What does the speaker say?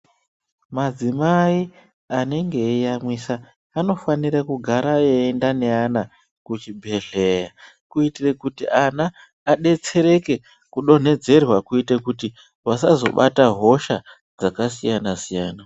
Madzimai anenge eiyamwisa anofanire kugara eienda nevana kuchibhedhlera kuitire kuti ana abetsereke kudonhedzerwa kuitire kuti vasazobata hosha dzakasiyana siyana.